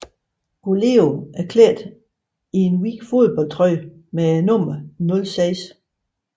Goleo er klædt i en hvid fodboldtrøje med nummeret 06